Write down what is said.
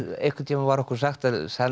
einhvern tímann var okkur sagt að